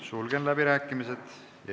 Sulgen läbirääkimised.